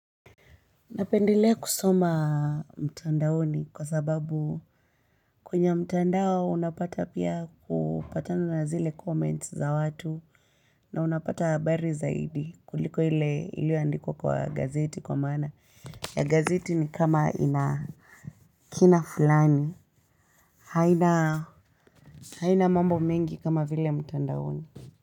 Napendelea kusoma mtandaoni kwa sababu kwenye mtandao unapata pia kupatana na zile comments za watu na unapata habari zaidi kuliko ile iliyoandikwa kwa gazeti kwa maana ya gazeti ni kama ina kina fulani haina mambo mengi kama vile mtandaoni.